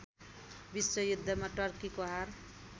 विश्वयुद्धमा टर्कीको हार